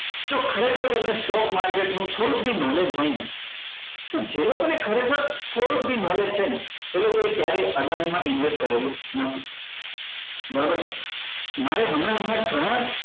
જો ખરેખર તમને stock market નું થોડુક બી knowledge હોય ને તો જે લોકો ને ખરેખર થોડુક બી knowledge છે ને એ લોકો એ ક્યારેય અદાની માં invest કરેલું નથી બરાબર મારે હમણાં હમણાં ઘણા